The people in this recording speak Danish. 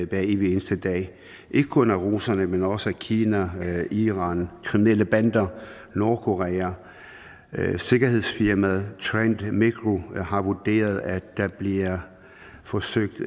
hver evig eneste dag ikke kun af russerne men også af kina iran kriminelle bander og nordkorea sikkerhedsfirmaet trend micro har vurderet at der bliver forsøgt